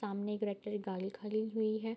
सामने एक red colour गाली खली हुइ है।